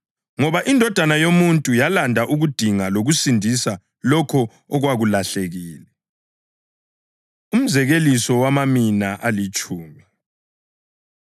Ngoba iNdodana yoMuntu yalanda ukudinga lokusindisa lokho okwakulahlekile.” Umzekeliso Wamamina Alitshumi